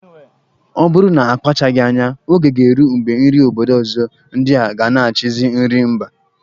Ọ bụrụ na a kpachaghi anya, Oge ga-eru mgbe nri obodo ọzọ ndi a ga na-achizi nri mba.